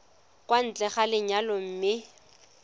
kwa ntle ga lenyalo mme